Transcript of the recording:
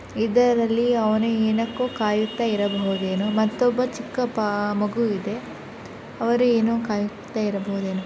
ಇದರಲ್ಲಿ ಅವನು ಏನಕ್ಕೋ ಕಾಯುತ್ತ ಇರಬಹುದೇನೊ ಮತ್ತೊಬ್ಬ ಚಿಕ್ಕ ಬಾ ಮಗು ಇದೆ ಅವರು ಏನೋ ಕಾಯುತ್ತ ಇರಬಹುದೇನೊ --